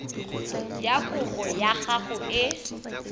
ya kopo ya gago e